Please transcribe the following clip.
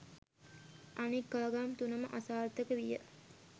අනෙක් ආගම් තුන ම අසාර්ථක විය.